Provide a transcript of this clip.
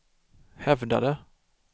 hävdade